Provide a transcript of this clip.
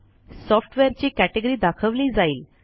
सॉफ्टवेअरची कॅटेगरी दाखवली जाईल